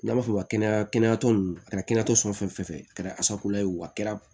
N'an b'a fɔ o ma kɛnɛya kɛnɛyaso nunnu a kɛra kɛnɛyaso fɛn fɛn fɛ a kɛra ye o a kɛra